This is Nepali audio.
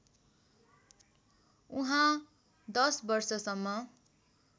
उहाँ १० वर्षसम्म